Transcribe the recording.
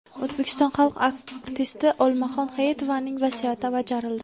O‘zbekiston xalq artisti Olmaxon Hayitovaning vasiyati bajarildi.